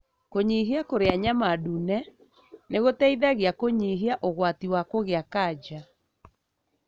Kũnyihia kũrĩa nyama ndune nĩ guteithagia kũnyihia ũgwati wa kũgĩa kanja.